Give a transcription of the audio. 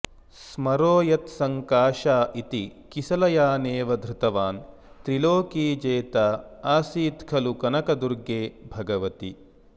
स्मरो यत्सङ्काशा इति किसलयानेव धृतवान् त्रिलोकी जेताऽऽसीत्खलु कनकदुर्गे भगवति